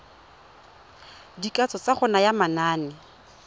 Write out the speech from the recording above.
dikatso tsa go naya manane